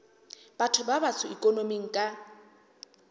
batho ba batsho ikonoming ka